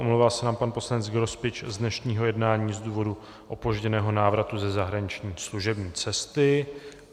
Omlouvá se nám pan poslanec Grospič z dnešního jednání z důvodu opožděného návratu ze zahraniční služební cesty.